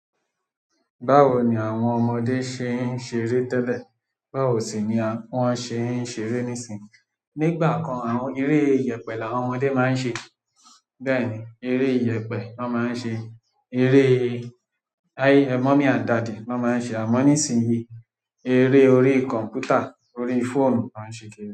Báwo ni àwọn ọmọdé ṣe ń ṣeré tẹ́lẹ̀? Báwo sì ni wọ́n ṣe ń ṣeré nísìínyi? Nígbà kan, àwọn eré ìyẹ̀pẹ̀ làwọn ọmọdé máa ń ṣe. Bẹ́ẹ̀ ni, eré ìyẹ̀pẹ̀ lọ máa ń ṣe, eré mommy and daddy lọ máa ń ṣe àmọ́ nísìínyi, eré orí kọ̀m̀pútà, orí fóònù ló ń ṣe kiri.